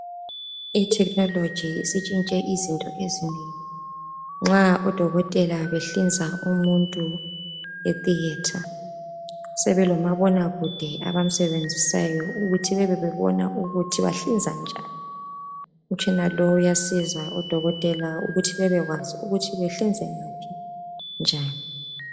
I-technology isitshintshe izinto ezinengi. Nxa odokotela behlinza umuntu e-thearter sebelomabona kude abamsebenzisayo ukuthi bebe bebona ukuthi bahlinza njani. Umtshina lo uzisa odokotela ukuthi bebekwazi ukuthi behlinze ngaphi njani.